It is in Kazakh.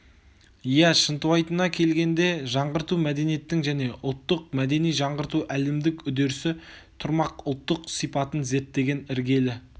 иә шынтуайтына келгенде жаңғырту мәдениеттің және ұлттық мәдени жаңғырту әлемдік үдерісі тұрмақ ұлттық сипатын зерттеген іргелі